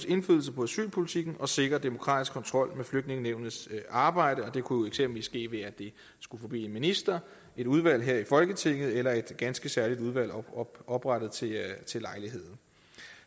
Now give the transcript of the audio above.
indflydelse på asylpolitikken og sikrer demokratisk kontrol med flygtningenævnets arbejde det kunne eksempelvis ske ved at det skulle forbi en minister et udvalg her i folketinget eller et ganske særligt udvalg oprettet til til lejligheden